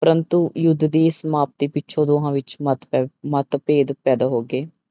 ਪ੍ਰੰਤੂ ਯੁੱਧ ਦੀ ਸਮਾਪਤੀ ਪਿੱਛੋਂ ਦੋਹਾਂ ਵਿੱਚ ਮਤਭੇ ਮਤਭੇਦ ਪੈਦਾ ਹੋ ਗਏ।